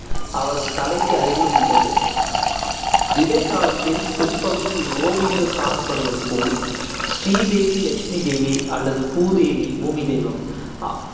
அவரது தலைக்கு அருகிலும் உள்ளது. இடைக்காலத்தில் பிற்பகுதியில் ஓவியங்கள் காணப்படுவது போல், ஸ்ரீதேவி லக்ஷ்மி தேவி அல்லது பூதேவி பூமி தெய்வம் அ~